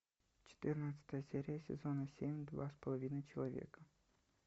четырнадцатая серия сезона семь два с половиной человека